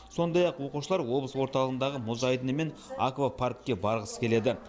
сондай ақ оқушылар облыс орталығындағы мұз айдыны мен аквапаркке барғысы келеді